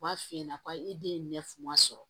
U b'a f'i ɲɛna ko e den ye ne funu sɔrɔ